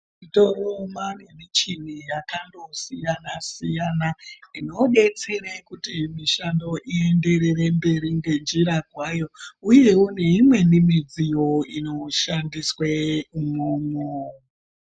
Toro mwaane michini yakandosiyana siyana inodetsere kuti mushando ienderere mberi ngenjira kwayo uyewo neimweni midziyo inoshandiswe umwomwo.